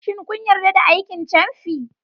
Shin kun yarda da aikin camfi?